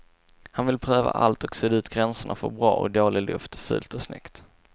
Han vill pröva allt och sudda ut gränserna för bra och dåligt, fult och snyggt.